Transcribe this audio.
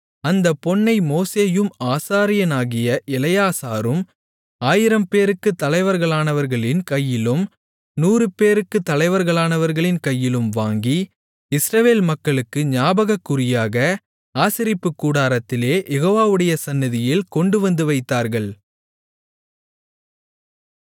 அந்தப் பொன்னை மோசேயும் ஆசாரியனாகிய எலெயாசாரும் ஆயிரம் பேருக்குத் தலைவர்களானவர்களின் கையிலும் நூறு பேருக்குத் தலைவர்களானவர்களின் கையிலும் வாங்கி இஸ்ரவேல் மக்களுக்கு ஞாபகக்குறியாக ஆசரிப்புக் கூடாரத்திலே யெகோவாவுடைய சந்நிதியில் கொண்டுவந்து வைத்தார்கள்